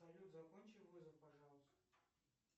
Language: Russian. салют закончи вызов пожалуйста